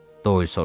Doyl soruşdu.